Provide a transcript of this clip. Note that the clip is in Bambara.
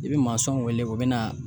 I be masɔnw wele, u be na